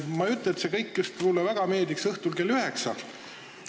Ma ei ütle, et see kõik mulle just õhtul kell 9 väga meeldib ...